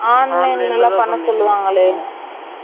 online லாம் பண்ண சொல்லுவாங்களே